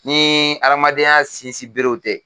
Ni adamadenya sinsin berew tɛ